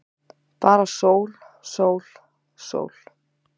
Bara sól, sól, sól.